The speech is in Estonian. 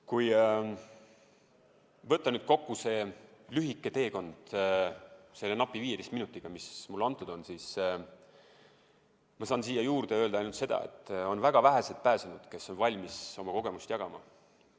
Kui võtta kokku see lühike teekond selle napi 15 minutiga, mis mulle antud on, siis saan siia juurde öelda ainult seda, et väga vähesed pääsenud on valmis oma kogemust jagama.